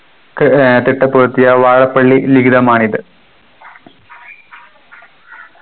ക് ഏർ തിട്ടപ്പെടുത്തിയ വാഴപ്പള്ളി ലിഖിതമാണിത്